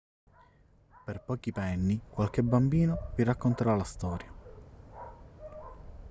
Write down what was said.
per pochi penny qualche bambino vi racconterà la storia